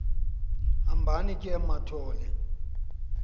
hambani ke mathol